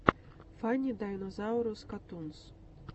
фанни дайнозаурус катунс